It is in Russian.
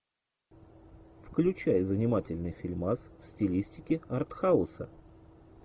включай занимательный фильмас в стилистике арт хауса